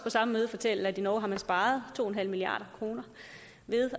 samme møde fortælle at i norge har man sparet to milliard kroner ved